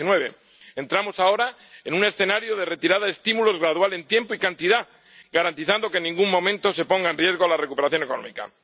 2019. Entramos ahora en un escenario de retirada de estímulos gradual en tiempo y cantidad, garantizando que en ningún momento se ponga en riesgo la recuperación económica.